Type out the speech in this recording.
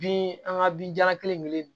Bin an ka bin jalan kelen kelen in